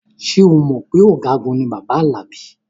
Ṣé o mọ̀ pé ọ̀gágun ni bàbá Alabi?